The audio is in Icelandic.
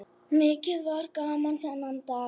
Mikið var gaman þennan dag.